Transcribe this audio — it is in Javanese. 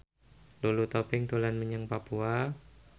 Lulu Tobing dolan menyang Papua